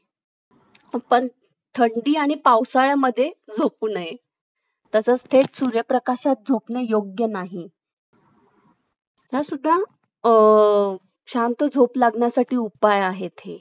अं बघावं लागल graphic design झालेलं आहे बरं का